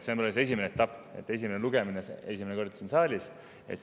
See on alles esimene etapp, esimene lugemine, see on esimest korda siin saalis.